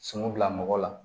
Sunu bila mɔgɔ la